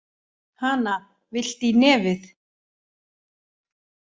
Hana, viltu í nefið?